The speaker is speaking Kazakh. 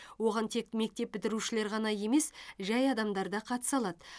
оған тек мектеп бітірушілер ғана емес жәй адамдар да қатыса алады